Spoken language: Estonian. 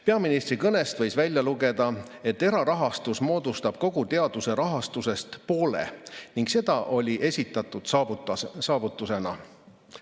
Peaministri kõnest võis välja lugeda, et erarahastus moodustab kogu teaduse rahastusest poole ning see oli esitatud saavutusena.